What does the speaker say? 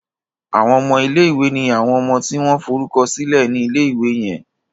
Àwon ọmọ ilé ìwé ní àwọn ọmọ tí wón forúkọsílè ní ilé ìwé yen